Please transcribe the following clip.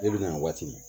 I bɛ na waati min